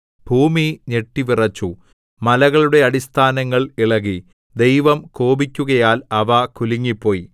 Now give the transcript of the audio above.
ഭൂമി ഞെട്ടിവിറച്ചു മലകളുടെ അടിസ്ഥാനങ്ങൾ ഇളകി ദൈവം കോപിക്കുകയാൽ അവ കുലുങ്ങിപ്പോയി